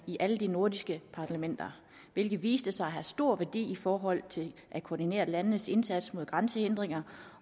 i alle de nordiske parlamenter hvilket viste sig at have stor værdi i forhold til at koordinere landenes indsats mod grænsehindringer